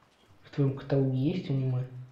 в твоем каталоге есть анимэ